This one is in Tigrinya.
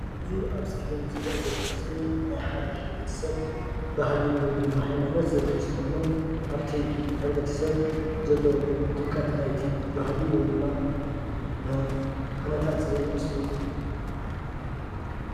እዚ ኣብ ስክሪን ዝርአ ዘሎ ምስሊ ናይ ሓደ ሕብረተሰብ ባህሊ ወይ ድማ ሃይማኖት ዘርኢ ምስሊ ኮይኑ ኣብቲ ሕብረተሰብ ዘሎ ድምቀት ናይቲ ባህሊ ወይ ድማ ኩነታት ዘርኢ ምስሊ እዩ፡፡